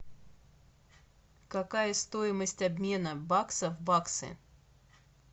какая стоимость обмена бакса в баксы